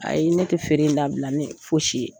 Ayi ne tɛ feere in dabila ni foyi si ye.